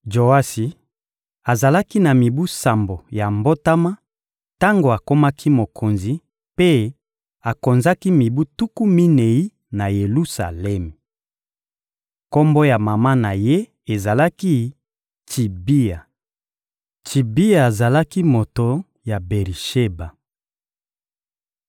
Joasi azalaki na mibu sambo ya mbotama tango akomaki mokonzi, mpe akonzaki mibu tuku minei na Yelusalemi. Kombo ya mama na ye ezalaki «Tsibia.» Tsibia azalaki moto ya Beri-Sheba.